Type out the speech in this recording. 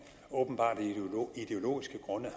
åbenbart af ideologiske grunde